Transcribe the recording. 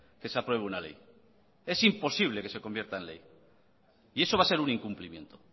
que se apruebe una ley es imposible que se convierta en ley y eso va a ser un incumplimiento